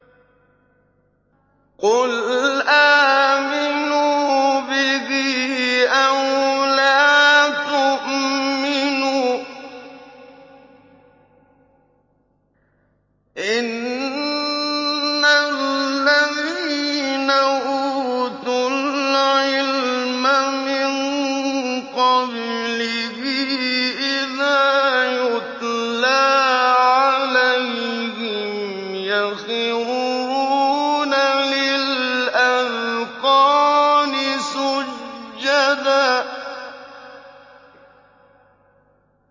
قُلْ آمِنُوا بِهِ أَوْ لَا تُؤْمِنُوا ۚ إِنَّ الَّذِينَ أُوتُوا الْعِلْمَ مِن قَبْلِهِ إِذَا يُتْلَىٰ عَلَيْهِمْ يَخِرُّونَ لِلْأَذْقَانِ سُجَّدًا